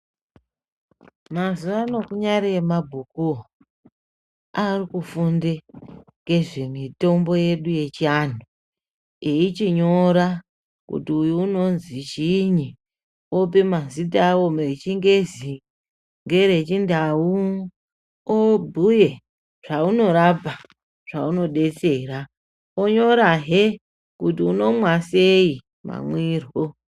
Mazuvano kunyari emabhukuwo akufunde ngezvemitombo yedu yechiantu eichinyora kuti unonzi chiinyi. Ope mazita awo eChiNgezi ngereChiNdau, obhuye zvaunorapa, zvaunodetsera. Onyorahe kuti unomwa sei mamwirwo.